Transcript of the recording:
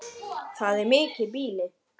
Það er mikið býli.